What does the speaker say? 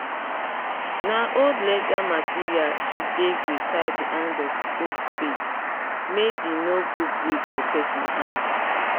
na old leather material she take dey tie the hand of old spade make d nor go break for person hand